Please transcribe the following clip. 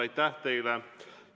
Aitäh teile!